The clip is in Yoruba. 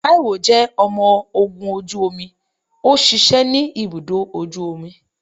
Taiwo jẹ ọmọ ogun oju omi, o ṣiṣẹ ni ibudọ ojú omí.